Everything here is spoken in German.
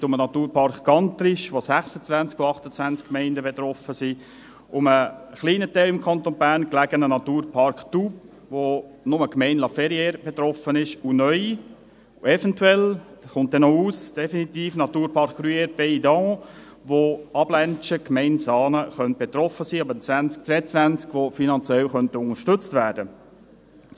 Es geht um den Naturpark Gantrisch, bei dem 26 von 28 Gemeinden betroffen sind, um den zu einem kleinen Teil im Kanton Bern gelegenen Naturpark Doubs, bei dem nur die Gemeinde La Ferrière betroffen ist und neu und eventuell – dies kommt noch definitiv aus – der Naturpark Gruyère Pays-d’Enhaut, wo Abländschen, Gemeinde Saanen, betroffen sein könnte und ab 2022 finanziell unterstützt werden könnte.